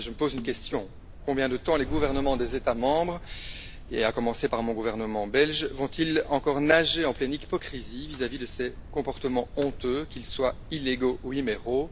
Mais je me pose une question combien de temps les gouvernements des États membres, et à commencer par mon gouvernement belge, vont ils encore nager en pleine hypocrisie vis à vis de ces comportement honteux, qu'ils soient illégaux ou immoraux?